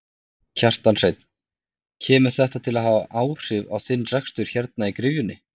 Kjartan Hreinn: Kemur þetta til með að hafa áhrif á þinn rekstur hérna í gryfjunni?